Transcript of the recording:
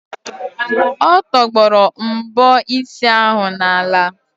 Ọ tọgbọrọ mbọ isi ahụ n'ala.